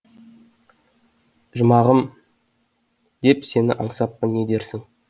жұмағым деп сені аңсаппын не дерсің